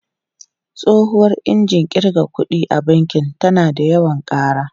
Tsohuwar injin kirga kuɗi a banki tana yawan ƙara.